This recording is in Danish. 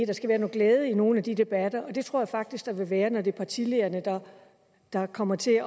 der skal være noget glæde i nogle af de debatter det tror jeg faktisk der vil være når det er partilederne der kommer til